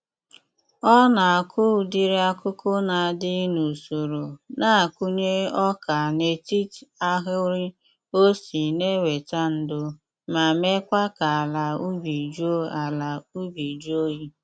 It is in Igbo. Ọ na-akụ ụdịrị akụkụ na-adị n'usoro na-akụnye ọka n'etit ahịrị ossi na-eweta ndo ma meekwa ka ala ubi jụọ ala ubi jụọ oyi.